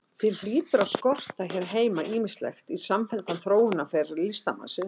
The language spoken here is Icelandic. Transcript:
Því hlýtur að skorta hér heima ýmislegt í samfelldan þróunarferil listamannsins.